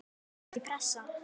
Ekki pressa!